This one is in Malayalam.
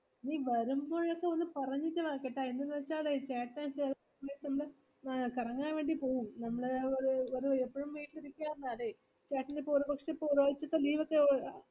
നിവരുമ്പോഴേക്കും ഒന്ന് പറഞ്ഞിട്ട് വാ കേട്ടാ എന്തെന്ന് വെച്ചാൽ ചേട്ടൻ കറങ്ങൻ വേണ്ടി പോവും നമ്മൾ ഒരു ഒരു എപ്പോഴും വീട്ടിൽ ഇരിക്കാത്തതാണെ ചേട്ടൻ ഒരുപക്ഷെ ഒരു ആഴ്ചത്തെ leave ഒക്കെ